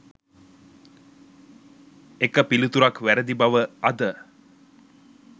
එක පිළිතුරක් වැරදි බවඅද